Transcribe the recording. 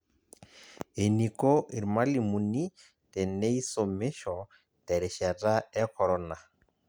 Eniko irmalimuni teneisumisho terishata e korona.